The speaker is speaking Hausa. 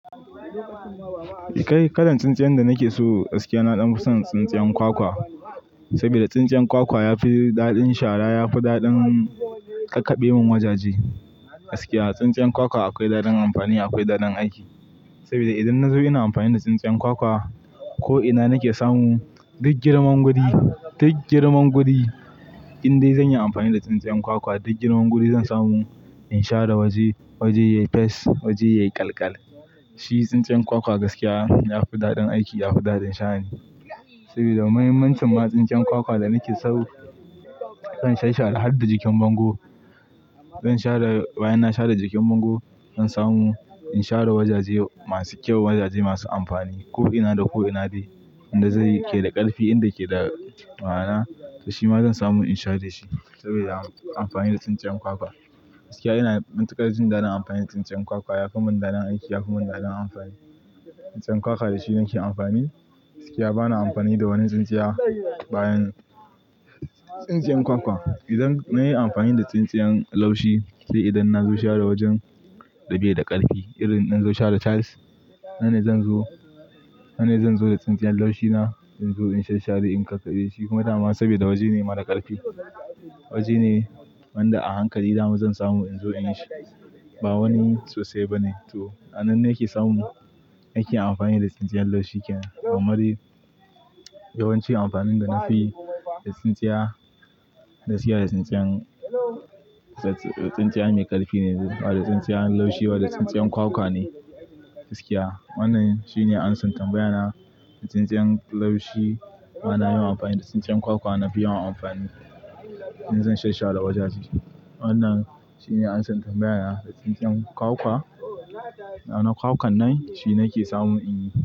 Kai kalan tsintsiyan da nake so gaskiya na damu son tsintsiyan kwakwa saboda tsintsiyan kwakwa ya fi daɗin shara ya fi daɗin ƙaƙabe mun wajaje gaskiya. Tsintsiyan kwakwa akwai daɗin amfani akwai daɗin aiki saboda idan na zo ina amfani da tsintsiyan kwakwa ko'ina nake samu duk girman wuri duk girman wuri in dai zan yi amfani da tsintsiyan kwakwa duk girman wuri zan samu in share waje waje yayi fes waje yayi ƙalƙal. Shi tsintsiyan kwakwa gaskiya yafi daɗin aiki yafi daɗin share saboda mahimmancin ma tsintsiyan kwakwa da nake so zan sha share harda jikin bango zan share bayan na share jikin bango zan samu in share wajaje masu kyau wajaje masu amfani ko'ina da ko'ina be inda zai ke da ƙarfi inda ke da ma'ana to shima zan samu in share shi saboda amfani da tsintsiyan kwakwa. Gaskiya ina muntakar jin daɗin amfani da tsintsiyan kwakwa yafi mun daɗin aiki yafi mun daɗin amfani. Tsintsiyan kwakwa da shi nake amfani gaskiya bana amfani da wani tsintsiya bayan tsintsiyan kwakwa. Idan na yi amfani da tsintsiyan laushi sai idan na zo share wajen da bai da ƙarfi irin in zo share tiles hanai zan zo hanai zan zo da tsintsiyan laushi na in zo in sha share in ƙaƙabe shi kuma dama saboda waje ne mara ƙarfi waje ne wanda a hankali dama zan samu in zo in yi shi ba wani sosai bane to nan ne nake samu in ake amfani da tsintsiyan laushi kenan. Amari yawancin amfanin da na fi da tsintsiya gaskiya da tsintsiyan da tsintsiyan mai ƙarfi ne bada tsintsiyan laushi bada tsintsiyan kwakwa ne gaskiya wannan shine ansan tambaya na da tsintsiyan laushi bana yin amfani da tsintsiyan kwakwa nafi yawa amfani in zan sha sha da wajaje wannan shine ansan tambaya na da tsintsiyan kwakwa. Nana kwakan nan shine nake samu in yi.